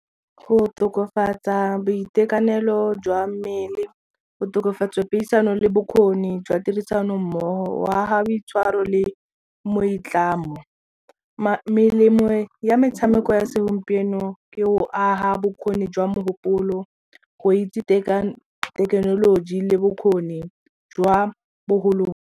Go tokafatsa boitekanelo jwa mmele, go tokafatsa puisano le bokgoni jwa tirisano mmogo, go aga boitshwaro le moitlamo. Melemo ya metshameko ya segompieno ke go aga bokgoni jwa mogopolo go itse thekenoloji le bokgoni jwa .